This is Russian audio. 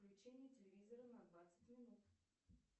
включение телевизора на двадцать минут